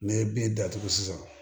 N'i ye bin datugu sisan